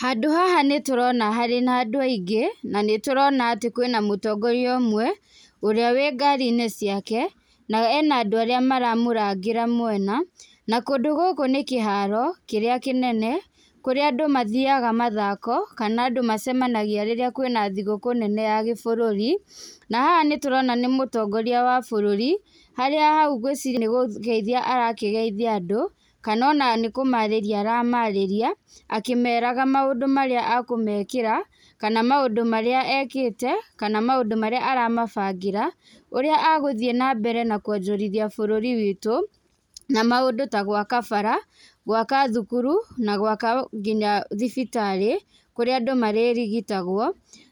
Handũ haha nĩ tũrona harĩ na andũ aingĩ na nĩ tũrona atĩ kwĩna mũtongoria ũmwe ũrĩa wĩ ngari-inĩ ciake na ena andũ arĩa maramũrangĩra mwena. Na kũndũ gũkũ nĩ kĩharo kĩrĩa kĩnene kũrĩa andũ mathiaga mathako kana andũ macemanagia rĩrĩa kwĩna thigũkũ nene ya gĩbũrũri. Na haha nĩ tũrona nĩ mũtongoria wa bũrũri , harĩa hau ngwĩciria nĩ kũgeithai arakĩgeithia andũ kana ona nĩ kũmaarĩria aramaarĩria, akĩmeraga maũndũ marĩa ekũmekĩra, kana maũndũ marĩa ekĩte kana maũndũ marĩa aramabangĩra, ũrĩa agũthiĩ nambere na kwonjorithia bũrũri witũ, na maũndũ ta gwaka bara, gwaka thukuru nginya thibitarĩ kũrĩa andũ marĩrigitagũo.